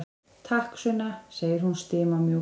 Takk, Sunna, segir hún stimamjúk.